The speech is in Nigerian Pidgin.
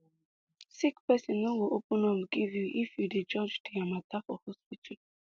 sick pesin no go open up give you if you dey judge dia mata for hospital